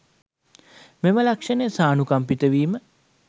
මෙම ලක්ෂණය සානුකම්පිත වීම